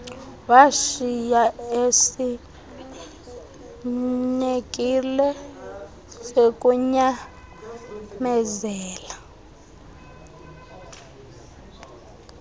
washiya esinekile kukunyamezela